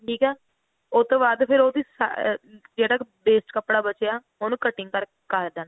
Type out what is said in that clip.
ਠੀਕ ਆ ਉਹ ਤੋਂ ਬਾਅਦ ਫਿਰ ਉਹਦੀ ਸਾਰੀ ਜਿਹੜਾ ਕ waste ਕੱਪੜਾ ਬਚਿਆ ਉਹਨੂੰ cutting ਕਰ ਕਰ ਦੇਣਾ